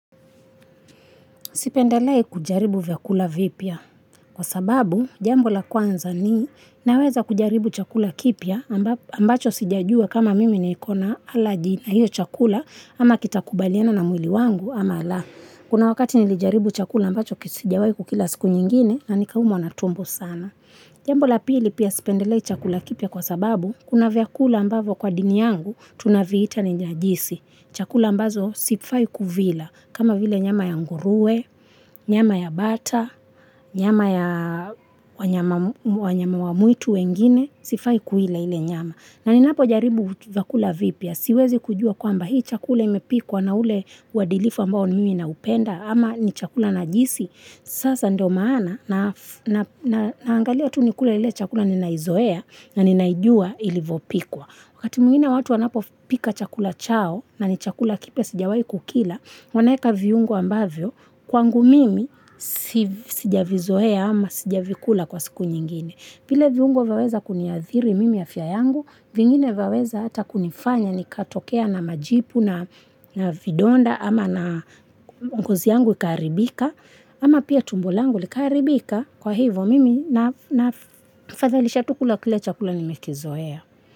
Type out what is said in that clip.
Sipendelei kujaribu vyakula vipya kwa sababu jambo la kwanza ninaweza kujaribu chakula kipya ambacho sijajua kama mimi niko na aleji na hiyo chakula ama kitakubaliana na mwili wangu ama laa. Kuna wakati nilijaribu chakula ambacho sijawahi kukila siku nyingine na nikaumwa na tumbo sana. Jambo la pili pia sipendelee chakula kipya kwa sababu kuna vyakula ambavo kwa dini yangu tunaviita ni najisi. Chakula ambazo sifai kuvila, kama vile nyama ya nguruwe, nyama ya bata, nyama ya wanyama wa mwitu wengine, sifai kuila ile nyama. Na ninapo jaribu vyakula vipya, siwezi kujua kwamba hii chakula imepikwa na ule uadilifu ambao mimi naupenda, ama ni chakula najisi, sasa ndo maana, naangalia tu nikule ile chakula ninaizoea, na ninaijua ilivopikwa. Wakati mwingine watu wanapopika chakula chao na ni chakula kipya sijawai kukila, wanaweka viungo ambavyo kwangu mimi sijavizoea ama sijavikula kwa siku nyingine. Vile viungo vyaweza kuniathiri mimi afya yangu, vingine vyaweza hata kunifanya nikatokea na majipu na vidonda ama na ngozi yangu ikaharibika ama pia tumbo langu likaharibika kwa hivyo mimi na fadhalisha tu kula kile chakula nimekizoea.